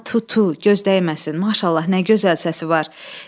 Amma Tutu, göz dəyməsin, maşallah nə gözəl səsi var.